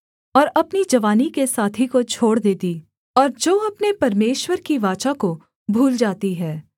और अपनी जवानी के साथी को छोड़ देती और जो अपने परमेश्वर की वाचा को भूल जाती है